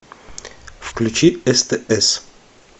включи стс